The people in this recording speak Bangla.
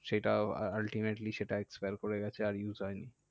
সেটাও ultimately সেটাও expire করে গেছে আর use হয়নি।